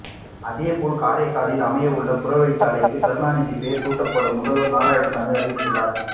அதே போல் காரைக்காலில் அமைய உள்ள புறவழிச்சாலைக்கு கருணாநிதி பெயர் சூட்டப்படும் முதல்வர் நாராயணசாமி அறிவித்துள்ளார்